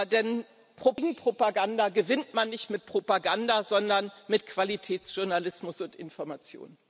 Denn gegen Propaganda gewinnt man nicht mit Propaganda, sondern mit Qualitätsjournalismus und Information.